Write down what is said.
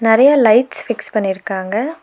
நெறையா lights fix பண்ணிருக்காங்க.